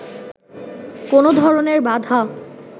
কোনো ধরনের বাধা